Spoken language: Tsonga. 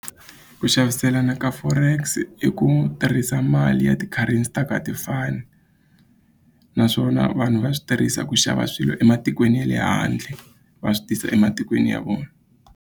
Ku xaviselana ka forex i ku tirhisa mali ya ti-currency ta ku a ti fani naswona vanhu va swi tirhisa ku xava swilo ematikweni ya le handle va swi tisa ematikweni ya vona.